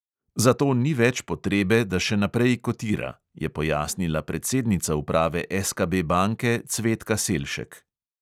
Zato ni več potrebe, da še naprej kotira, je pojasnila predsednica uprave SKB banke cvetka selšek.